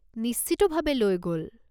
নিশ্চিতভাৱে লৈ গ'ল।